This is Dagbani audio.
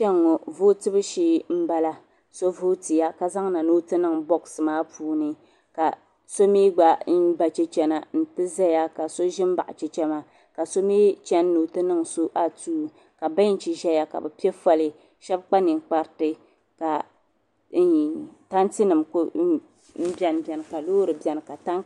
kpɛŋɔ vutobu shɛɛ n bala so vutɛya ka zaŋ na n o ti niŋ bɔɣisi maa puuni ka so mi gba ba chɛchina ti zali ka so gba mi zan baɣ' chɛchɛ maa la so mi chini ni o ti niŋ so atuu